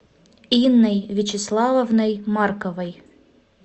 инной вячеславовной марковой